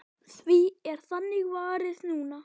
Því er þannig varið núna.